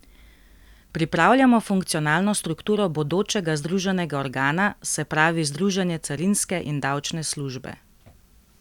Pripravljamo funkcionalno strukturo bodočega združenega organa, se pravi združenje carinske in davčne službe.